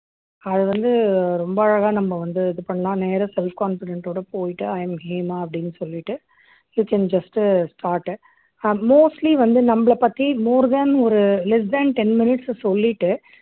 அது வந்து ரொம்ப அழகா நம்ம வந்து இது பண்ணலாம் நேரா self confident ஓட போயிட்டு I am ஹேமா அப்படின்னு சொல்லிட்டு you can just uh start ah mostly வந்து நம்மளைப் பத்தி more than ஒரு less than ten minutes ல சொல்லிட்டு